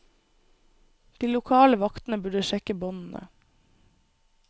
De lokale vaktene burde sjekke båndene.